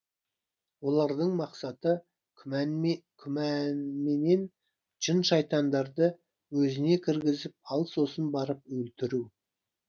олардың мақсаты күнәменен жын шайтандарды өзіне кіргізіп ал сосын барып өлтіру